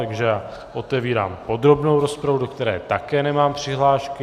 Takže otevírám podrobnou rozpravu, do které také nemám přihlášky.